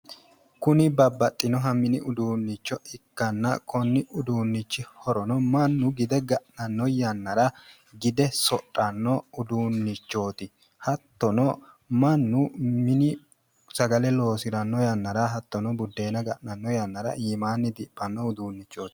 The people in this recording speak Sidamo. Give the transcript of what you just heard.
Kuni babbaxxinoha mini uduunnicho ikkanna konni uduunnichi horono mannu gide ga'nanno yannara gide sodhanno uduunnichooti. Hattono mannu mine sagale loodiranno yannara hattonno buddeena ga'nanno yannara iimaanni diphanno uduunnichooti.